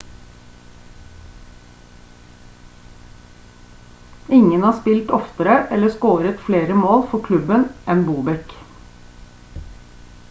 ingen har spilt oftere eller scoret flere mål for klubben enn bobek